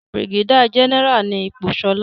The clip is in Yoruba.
brigadier general ni ipò Shola.